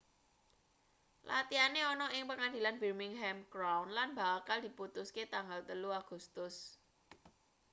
latihane ana ing pengadilan birmingham crown lan bakal diputuske tanggal 3 agustus